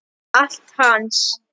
Allt hans.